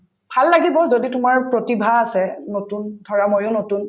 ভাল লাগিব যদি তোমাৰ প্ৰতিভা আছে নতুন ধৰা ময়ো নতুন